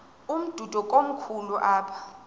umdudo komkhulu apha